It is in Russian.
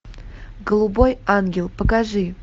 голубой ангел покажи